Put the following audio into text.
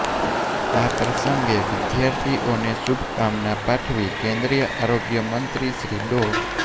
આ પ્રસંગે વિધાર્થીઓને શુભકામના પાઠવી કેન્દ્રીય આરોગ્ય મંત્રી શ્રી ડો